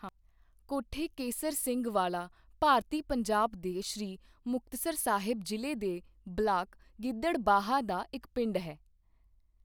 ਕੋਠੇ ਕੇਸਰ ਸਿੰਘ ਵਾਲਾ ਭਾਰਤੀ ਪੰਜਾਬ ਦੇ ਸ੍ਰੀ ਮੁਕਤਸਰ ਸਾਹਿਬ ਜ਼ਿਲ੍ਹੇ ਦੇ ਬਲਾਕ ਗਿੱਦੜਬਾਹਾ ਦਾ ਇੱਕ ਪਿੰਡ ਹੈ।